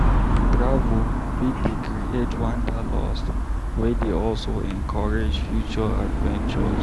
Travel fit dey create wanderlust, wey dey also encourage future adventures.